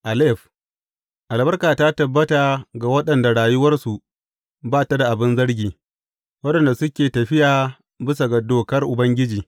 Alef Albarka ta tabbata ga waɗanda rayuwarsu ba ta da abin zargi, waɗanda suke tafiya bisa ga dokar Ubangiji.